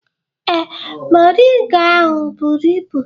Ee, moringa ahụ buru ibu